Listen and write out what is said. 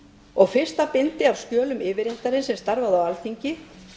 og fyrsta bindi af skjölum yfirréttarins sem starfaði á alþingi